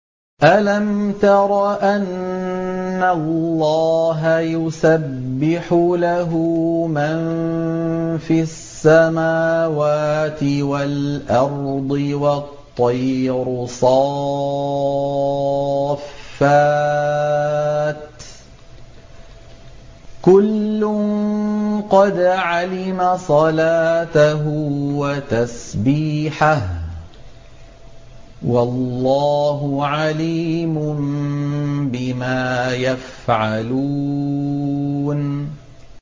أَلَمْ تَرَ أَنَّ اللَّهَ يُسَبِّحُ لَهُ مَن فِي السَّمَاوَاتِ وَالْأَرْضِ وَالطَّيْرُ صَافَّاتٍ ۖ كُلٌّ قَدْ عَلِمَ صَلَاتَهُ وَتَسْبِيحَهُ ۗ وَاللَّهُ عَلِيمٌ بِمَا يَفْعَلُونَ